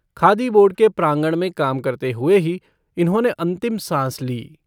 Khadi board के प्रागंण में काम करते हुए ही इन्होंने अन्तिम सांस ली।